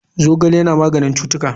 Zogale Yana maganin cutuka.